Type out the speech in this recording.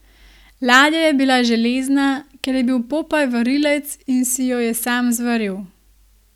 Ladja je bila železna, ker je bil Popaj varilec in si jo je sam zvaril.